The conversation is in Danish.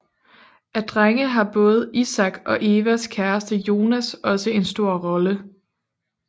Af drenge har både Isak og Evas kæreste Jonas også en stor rolle